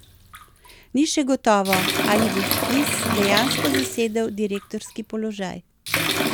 Ni še gotovo, ali bo Flis dejansko zasedel direktorski položaj.